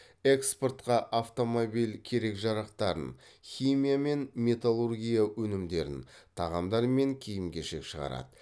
экспортқа автомобиль керек жарақтарын химия мен металлургия өнімдерін тағамдар мен киім кешек шығарады